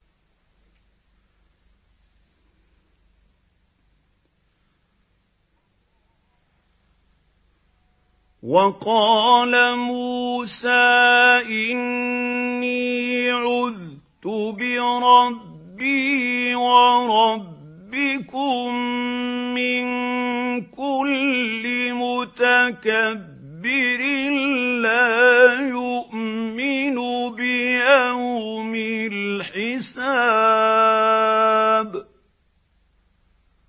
وَقَالَ مُوسَىٰ إِنِّي عُذْتُ بِرَبِّي وَرَبِّكُم مِّن كُلِّ مُتَكَبِّرٍ لَّا يُؤْمِنُ بِيَوْمِ الْحِسَابِ